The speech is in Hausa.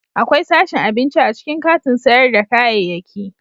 Akwai sashin abinci a cikin katin sayar da kayayyaki.